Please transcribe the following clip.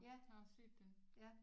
Ja ja